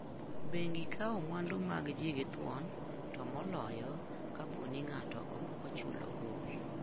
Bengi kawo mwandu mag ji gi thuon, to moloyo kapo ni ng'ato ok ochulo gowi.